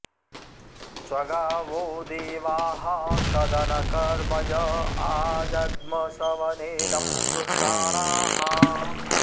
स्व॒गा वो॑ देवाः॒ सद॑नमकर्म॒ य आ॑ज॒ग्म सव॑ने॒दं जु॑षा॒णाः